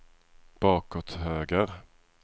bakåt höger